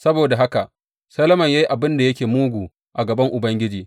Saboda haka Solomon ya yi abin da yake mugu a gaban Ubangiji.